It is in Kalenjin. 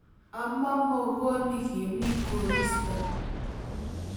Amo muongonik yemi koristo